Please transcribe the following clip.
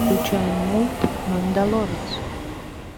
включай мульт мандалорец